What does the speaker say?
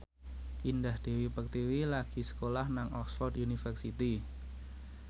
Indah Dewi Pertiwi lagi sekolah nang Oxford university